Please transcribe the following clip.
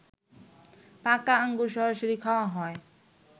পাকা আঙুর সরাসরি খাওয়া হয়